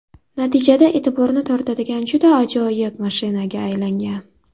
Natijada e’tiborni tortadigan juda ajoyib mashinaga aylangan.